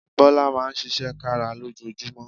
Bọ́lá Máa ń ṣiṣẹ́ kára lójoojúmọ́